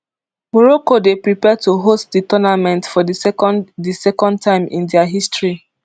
morocco dey prepare to host di tournament for di second di second time in dia history